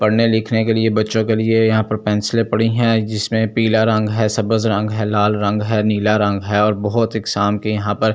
पढ़ने लिखने के लिए बच्चों के लिए यहां पर पेंसिलें पड़ी हैं जिसमें पीला रंग है सफेद रंग है लाल रंग है नीला रंग है और बहुत के यहां पर--